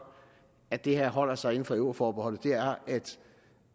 at det her holder sig inden for euroforbeholdet er at